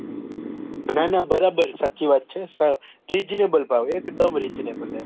ના ના બરાબર સાચી વાત છે સાવ reasonable ભાવ એકદમ reasonable એમ